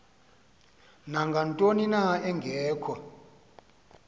nangantoni na engekho